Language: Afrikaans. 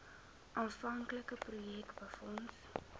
aanvanklike projek befonds